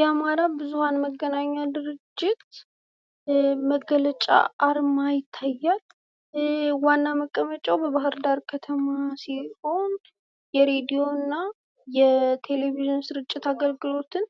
የአማራ ብዙሃን መገናኛ ድርጅት መገለጫ አርማ ይታያል ፤ ዋና መቀመጫዉ በባህር ዳር ከተማ ሲሆን ፤ የሬዲዮ እና የቴሌቪዥን ሥርጭት አገልግሎቶችን